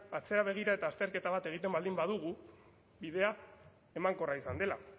atzera begira eta azterketa bat egiten baldin badugu bidea emankorra izan dela